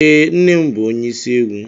Ee, nne m bụ ónyé isi egwu.